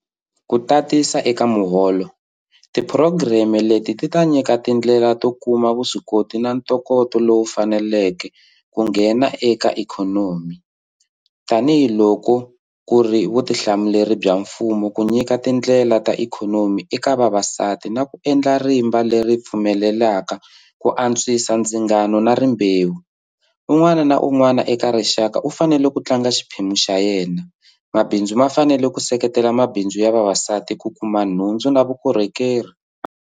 Ku tatisa eka muholo, tiphurogireme leti ti ta nyika tindlela to kuma vuswikoti na ntokoto lowu faneleke ku nghena eka ikhonomi. Tanihi loko ku ri vutihlamuleri bya mgumo ku nyika tindlela ta ikhonomi eka vavasati na ku endla rimba leri pfumelelaka ku antswisa ndzingano wa rimbewu, un'wana na un'wana eka rixaka u fanele ku tlanga xiphemu xa yena. Mabindzu ma fanele ku seketela mabindzu ya vavasati ku kuma nhundzu na vukorhokeri.